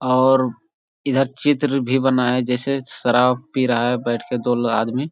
और इधर चित्र भी बना है जैसे शराब पी रहा है बैठ के दो लो आदमी।